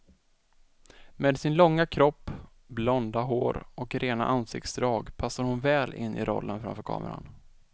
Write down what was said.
Med sin långa kropp, blonda hår och rena ansiktsdrag passar hon väl in i rollen framför kameran.